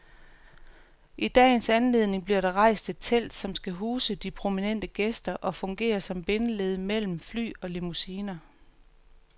I dagens anledning bliver der rejst et telt, som skal huse de prominente gæster og fungere som bindeled mellem fly og limousiner.